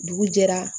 Dugu jɛra